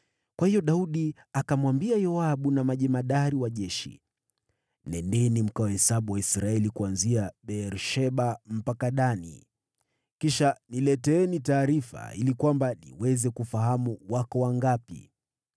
Kwa hiyo Daudi akamwambia Yoabu na majemadari wa jeshi, “Nendeni mkawahesabu Waisraeli kuanzia Beer-Sheba mpaka Dani. Kisha nileteeni taarifa ili kwamba niweze kufahamu wako wangapi.”